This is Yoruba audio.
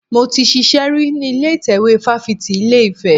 Mo ti ṣiṣẹ́ rí ní ilé ìtẹ́wé fáfitì ilé Ifẹ̀.